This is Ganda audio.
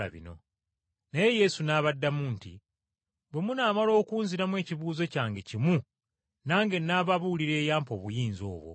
Naye Yesu n’abaddamu nti, “Bwe munaamala okunziramu ekibuuzo kyange kimu, nange n’ababuulira eyampa obuyinza obwo!